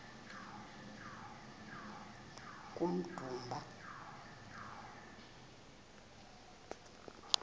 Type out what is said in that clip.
kummdumba